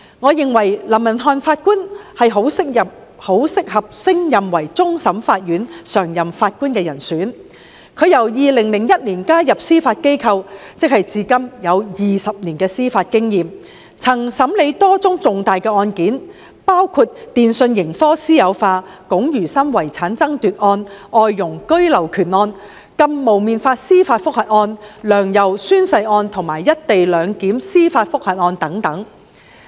我認為林文瀚法官十分適合升任為終審法院常任法官，他在2001年加入司法機構，至今已有20年司法經驗，曾審理多宗重大案件，包括電訊盈科私有化案、龔如心遺產爭奪案、外傭居留權案、禁"蒙面法"司法覆核案、"梁游"宣誓案，以及"一地兩檢"司法覆核案等。